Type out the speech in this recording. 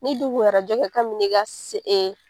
Ni dun kun bɛ arajo kɛ kabin ne ka se e